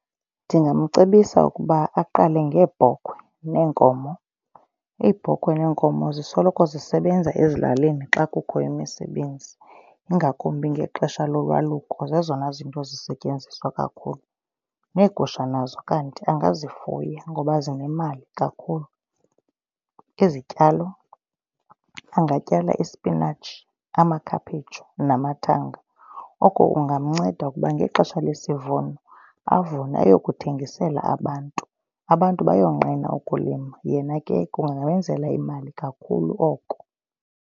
Ndingamcebisa ukuba aqale ngeebhokhwe neenkomo. Iibhokhwe neenkomo zisoloko zisebenza ezilalini xa kukho imisebenzi ingakumbi ngexesha lolwaluko zezona zinto zisetyenziswa kakhulu. Neegusha nazo kanti angazifuya ngoba zinemali kakhulu. Izityalo angatyala ispinatshi, amakhaphetshu namathanga. Oko kungamnceda ukuba ngexesha lesivuno avune aye kuthengisela abantu. Abantu bayonqena ukulima yena ke kungamenzela imali kakhulu oko.